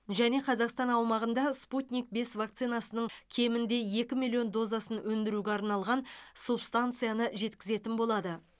және қазақстан аумағында спутник бес вакцинасының кемінде екі миллион дозасын өндіруге арналған субстанцияны жеткізетін болады